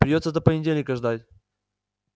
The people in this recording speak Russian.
придётся до понедельника ждать